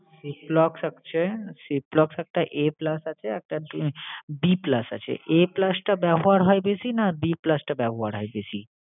ciplox আছে ciplox একটা A plus আছে আর একটা B plus আছে। A plus টা ব্যবহার হয় বেশি, না B plus টা ব্যবহার হয় বেশি?